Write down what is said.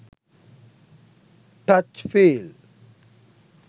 touch feel